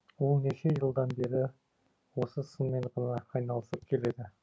ол неше жылдан бері осы сынмен ғана айналысып келеді